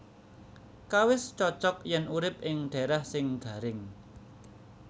Kawis cocog yén urip ing dhaerah sing garing